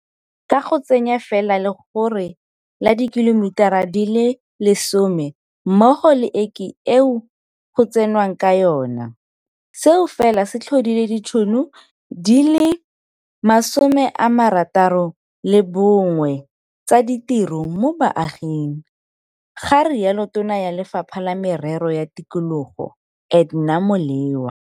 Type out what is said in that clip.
Ka go tsenya fela legore la dikhilomitara di le 10 mmogo le eke eo go tsenwang ka yona, seo fela se tlhodile ditšhono di le 61 tsa ditiro mo baaging, ga rialo Tona ya Lefapha la Merero ya Tikologo Edna Molewa.